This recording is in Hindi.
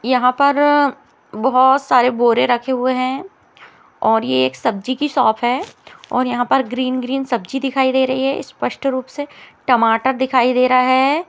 यहाँ पर बोहोत सारे बोरे रखे हुए है और ये एक सब्जी की शॉप है और यहाँ पर ग्रीन ग्रीन सब्जी दिखाई दे रही है स्पष्ट रूप से टमाटर दिखाई दे रहा है।